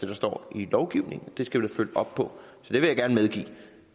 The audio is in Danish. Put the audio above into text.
der står i lovgivningen det skal vi følge op på